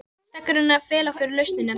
Steggurinn er að fela fyrir okkur lausnina.